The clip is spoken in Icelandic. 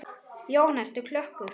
Jóhanna: Ertu klökkur?